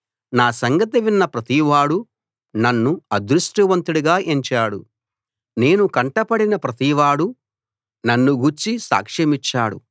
నా సంగతి విన్న ప్రతివాడూ నన్ను అదృష్టవంతుడిగా ఎంచాడు నేను కంటబడిన ప్రతివాడూ నన్ను గూర్చి సాక్ష్యమిచ్చాడు